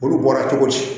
Olu bɔra cogo di